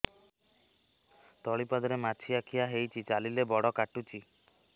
ତଳିପାଦରେ ମାଛିଆ ଖିଆ ହେଇଚି ଚାଲିଲେ ବଡ଼ କାଟୁଚି